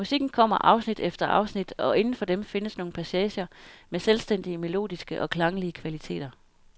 Musikken kommer afsnit efter afsnit, og inden for dem findes nogle passager med selvstændige melodiske og klanglige kvaliteter.